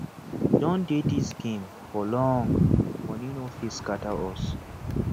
we don dey this game for long money no fit scatter us